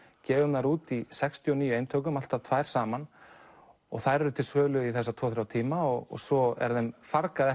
gefum þær út í sextíu og níu eintökum alltaf tvær saman og þær eru til sölu í þessa tvo til þrjá tíma og svo er þeim fargað